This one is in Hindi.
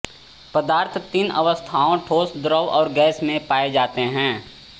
पदार्थ तीन अवस्थाओं ठोस द्रव और गैस में पाये जाते हैं